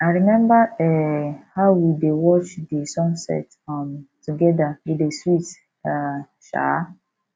I rememba um how we dey watch di sunset um togeda e dey sweet um sha